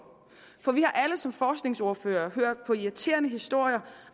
for vi har alle som forskningsordførere hørt på irriterende historier